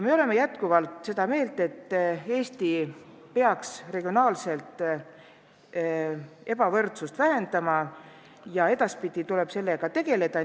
Me oleme jätkuvalt seda meelt, et Eesti peaks regionaalset ebavõrdsust vähendama ja edaspidi tuleb sellega tegeleda.